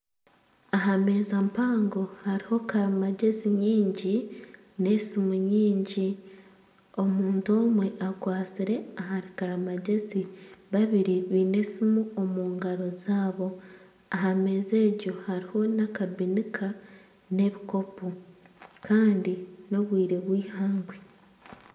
Aha meeza mpango hariho karimagyezi nyingi n'esimu nyingi, omuntu omwe akwatsire ahari karimagyezi babiri baine esimu omungaro zaabo aha meeza egyo hariho n'akabinika n'ebikopo kandi n'obwire bwihangwe